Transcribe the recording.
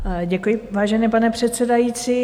Děkuji, vážený pane předsedající.